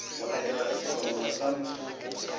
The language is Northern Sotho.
go etela sehlongwa sa mothopo